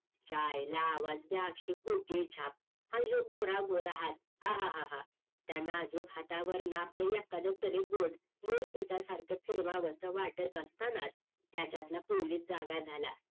तिच्या आईला आवज द्या आठशे कोटी झाप आणि ह्यो गोरा गोरा हात हा हा हा त्या नाजूक हातावर नाप लई या कधीतरी बोट मोर तिच्या हे सारखं फिरवावस वाटत असताना त्याच्यातला पोलीस जागा झाला